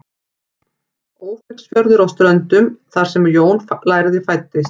Ófeigsfjörður á Ströndum þar sem Jón lærði fæddist.